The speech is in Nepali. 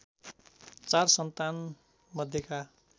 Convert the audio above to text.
४ सन्तान मध्येका